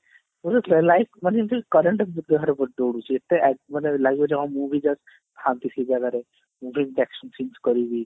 live ମାନେ ଏମତି current ଦେହରେ ଦୋଉଡୁଛି ଏତେ ମାନେ ଲାଗିବ ଯେ ହଁ ମୁଁ ବି ଥାନ୍ତି କି ସେଇ ଜାଗାରେ ମୁଁ ବି ସେମଟି action films କରିବି